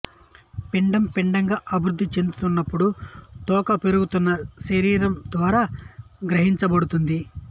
పిండం పిండంగా అభివృద్ధి చెందుతున్నప్పుడు తోక పెరుగుతున్న శరీరం ద్వారా గ్రహించబడుతుంది